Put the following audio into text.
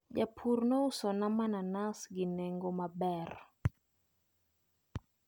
Japur nousona mananas gi nengo maber.